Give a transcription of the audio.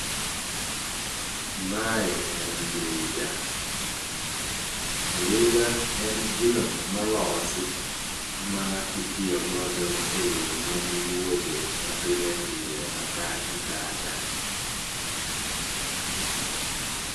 Mae en ndiga. Ndiga en gino molosi ma itiyo godo e yore mag wuodhe ma pile pile ma ka gi kacha